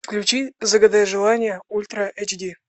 включи загадай желание ультра эйч ди